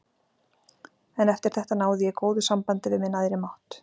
En eftir þetta náði ég góðu sambandi við minn æðri mátt.